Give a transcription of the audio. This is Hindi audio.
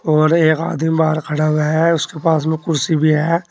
और एक आदमी बाहर खड़ा हुआ है उसके पास में कुर्सी भी है।